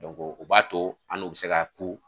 u b'a to an n'u bɛ se k' ku.